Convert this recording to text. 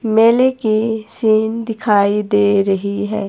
मेले की सीन दिखाई दे रही है।